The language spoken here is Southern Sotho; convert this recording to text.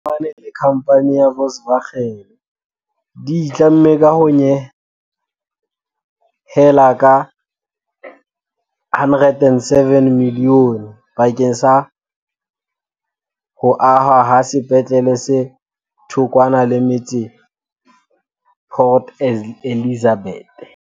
Mmuso wa Jeremane le khamphane ya Volkswagen di itlamme ka ho nyehela ka R107 milione bakeng sa ho ahwa ha sepetlele se thokwana le metse Port Elizabeth.